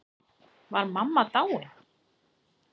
Var mamma dáin?